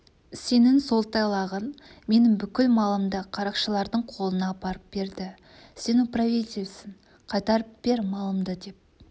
сенің сол тайлағың менің бүкіл малымды қарақшылардың қолына апарып берді сен управительсің қайтарып бер малымды деп